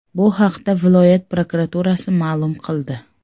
Bu haqda viloyat prokuraturasi ma’lum qildi .